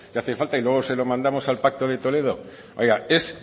hace falta y luego se lo mandamos al pacto de toledo oiga es